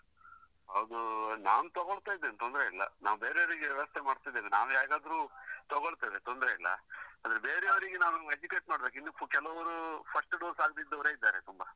ಅದು ನಾನು ತಗೊಳ್ತಾ ಇದ್ದೇನೆ ತೊಂದ್ರೆ ಇಲ್ಲ, ನಾನ್ ಬೇರೆಯವರಿಗೆ ವ್ಯವಸ್ತೆ ಮಾಡ್ತಿದ್ದೇನೆ, ನಾವು ಹೇಗಾದ್ರೂ ತಗೊಳ್ತೇವೆ ತೊಂದ್ರೆ ಇಲ್ಲ ಆದ್ರೆ ಬೇರೆಯವರಿಗೆ ನಾವು educate ಮಾಡ್ಬೇಕು ಇನ್ನು ಕೆಲವರೂ first dose ಯೇ ಆಗದಿದ್ದವರು ಇದ್ದಾರೆ ತುಂಬಾ.